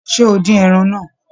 Ṣé o dín ẹran náà?